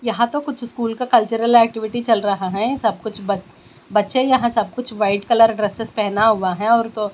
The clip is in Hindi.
यहाँ तो कुछ स्कूल का कल्चरल एक्टिविटी चल रहा है सब कुछ ब बच्चे यहाँ सब कुछ व्हाइट कलर ड्रेसेस पहना हुआ है और तो--